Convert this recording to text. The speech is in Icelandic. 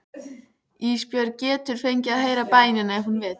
Ísbjörg getur fengið að heyra bænina ef hún vill.